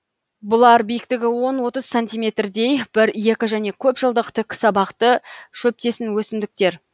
бұлар биіктігі он отыз сантиметрдей бір екі және көп жылдық тік сабақты шөптесін өсімдіктер